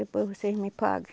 Depois vocês me pagam.